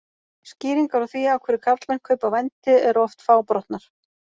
Skýringar á því af hverju karlmenn kaupa vændi eru oft fábrotnar.